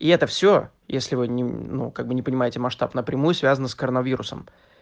и это все если вы не ну как бы не понимаете масштаб напрямую связано с коронавирусом